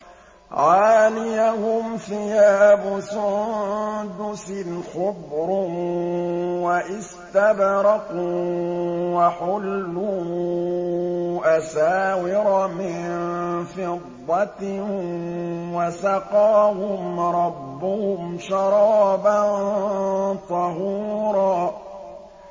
عَالِيَهُمْ ثِيَابُ سُندُسٍ خُضْرٌ وَإِسْتَبْرَقٌ ۖ وَحُلُّوا أَسَاوِرَ مِن فِضَّةٍ وَسَقَاهُمْ رَبُّهُمْ شَرَابًا طَهُورًا